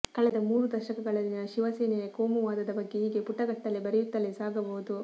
ಕಳೆದ ಮೂರು ದಶಕಗಳಲ್ಲಿನ ಶಿವಸೇನೆಯ ಕೋಮುವಾದದ ಬಗ್ಗೆ ಹೀಗೆ ಪುಟಗಟ್ಟಲೇ ಬರೆಯುತ್ತಲೇ ಸಾಗಬಹುದು